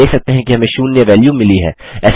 हम देख सकते हैं कि हमें शून्य वैल्यू मिली है